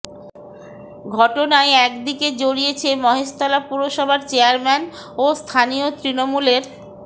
ঘটনায় একদিকে জড়িয়েছে মহেশতলা পুরসভার চেয়ারম্যান ও স্থানীয় তৃণমূলের